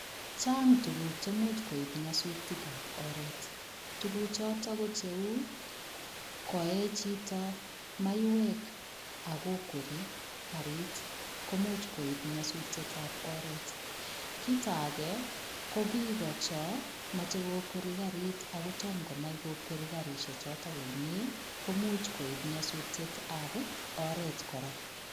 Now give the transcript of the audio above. Chang tukuk chemuch koib nyosutikab oreet, tukuchutok ko cheuu koee chito maiwek ak ko kwerii karit koimuch koib nyosutietab oreet, kiit akee ko biik chon moche kokwere karit ak kotonno konai kokweri karishechoton komnye komuch koib nyosutietab oreet kora.